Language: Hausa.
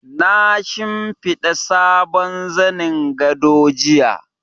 Na shimfiɗa sabon zanin gado jiya.